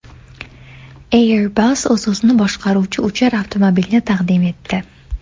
Airbus o‘z-o‘zini boshqaruvchi uchar avtomobilni taqdim etdi .